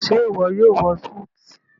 ṣe iwọ yóò wọ Súìtì?